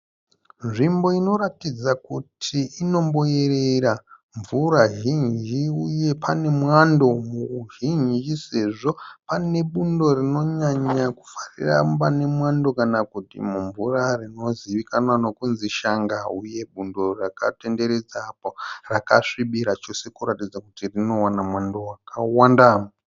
Nzvimbo inotaratidza kuti inomboerera mvura zhinji uye pane mwando muzhinji sezvo pane bundo rinonyanya kufarira pane mwando kana kuti mumvura rinozivikanwa nokunzi Shanga. Uye bundo rakatenderedzapo rakasvibira chose kuratidza kutu rinowana mwando wakawanda.